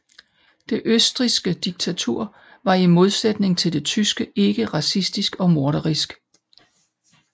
Det østrigske diktatur var i modsætning til det tyske ikke racistisk og morderisk